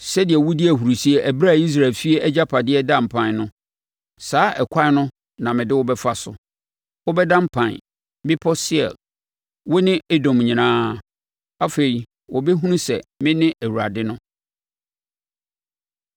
Sɛdeɛ wodii ahurisie ɛberɛ a Israel efie agyapadeɛ daa mpan no, saa ɛkwan no na mede wo bɛfa so. Wobɛda mpan, Bepɔ Seir, wo ne Edom nyinaa. Afei wɔbɛhunu sɛ mene Awurade no.’ ”